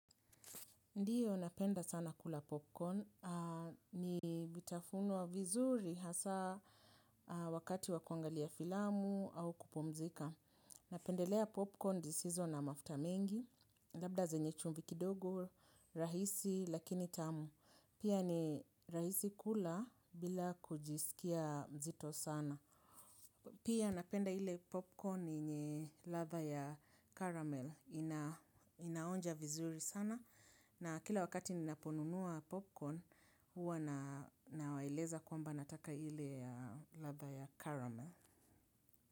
Ndiyo napenda sana kula popcorn. Ni vitafuno vizuri hasa wakati wakuangalia filamu au kupumzika. Napendelea popcorn zisizo na mafuta mingi labda zenye chumvi kidogo, rahisi lakini tamu. Pia ni rahisi kula bila kujisikia mzito sana. Pia napenda ile popcorn yenye ladha ya caramel ina inaonja vizuri sana na kila wakati ninaponunua popcorn huwa na nawaeleza kwamba nataka ile ya ladha ya caramel.